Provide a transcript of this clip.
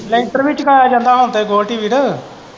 ਲੈਂਟਰ ਵੀ ਚਕਾਇਆ ਜਾਂਦਾ ਹੁਣ ਤੇ ਗੋਲਡੀ ਵੀਰ।